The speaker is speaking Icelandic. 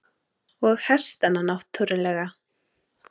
Og hestana náttúrlega.